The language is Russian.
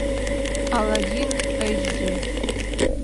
аладдин эйч ди